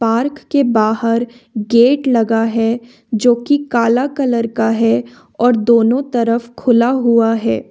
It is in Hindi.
पार्क के बाहर गेट लगा है जो कि काला कलर का है और दोनों तरफ खुला हुआ है।